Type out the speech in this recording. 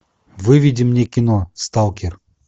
выведи мне кино сталкер